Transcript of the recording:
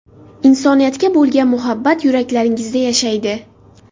Insoniyatga bo‘lgan muhabbat yuraklaringizda yashaydi!